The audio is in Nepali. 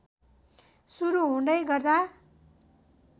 सुरु हुँदै गर्दा